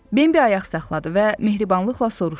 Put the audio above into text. Bembi ayaq saxladı və mehribanlıqla soruşdu.